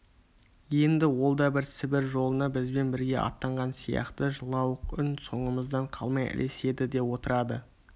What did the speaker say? енді ол да сібір жолына бізбен бірге аттанған сияқты жылауық үн соңымыздан қалмай ілеседі де отырады